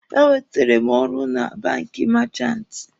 E nwetere m ọrụ na banki meechanti.